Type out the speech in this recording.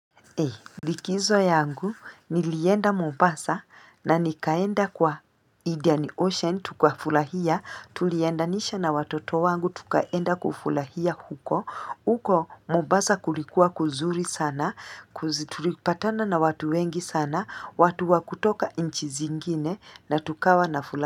Likizo yangu, nilienda mombasa na nikaenda kwa Indian Ocean, tukafurahia, tuliendanisha na watoto wangu, tukaenda kufurahia huko, uko mombasa kulikuwa kuzuri sana, tulipatana na watu wengi sana, watu wa kutoka nchi zingine na tukawa na fulaha.